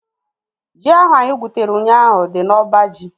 Ji ahu anyị gwutere ụnyaahụ dị n'oba ji